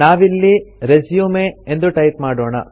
ನಾವಿಲ್ಲಿ ರೆಸ್ಯೂಮ್ ಎಂದು ಟೈಪ್ ಮಾಡೋಣ